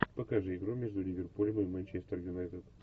покажи игру между ливерпулем и манчестер юнайтед